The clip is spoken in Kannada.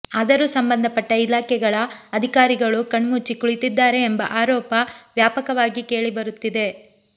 ಆದರೂ ಸಂಬಂಧಪಟ್ಟ ಇಲಾಖೆಗಳ ಅಧಿಕಾರಿಗಳು ಕಣ್ಮುಚ್ಚಿ ಕುಳಿತಿದ್ದಾರೆ ಎಂಬ ಆರೋಪ ವ್ಯಾಪಕವಾಗಿ ಕೇಳಿ ಬರುತ್ತಿವೆ